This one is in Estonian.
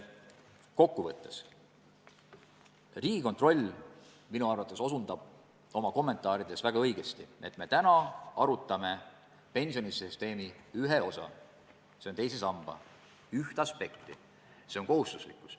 Kokku võttes: Riigikontroll osutab minu arvates oma kommentaarides väga õigesti, et me arutame praegu pensionisüsteemi ühe osa, teise samba üht aspekti – see on kohustuslikkus.